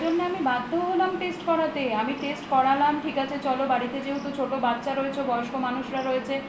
তার জন্য আমি বাধ্য হলাম test করাতে আমি test করালাম ঠিক আছে চলো বাড়িতে যেহেতু ছোট বাচ্ছা রয়েছে বয়স্ক মানুষেরা রয়েছে